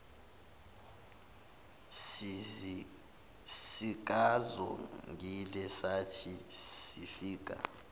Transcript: sikazongile sathi sifika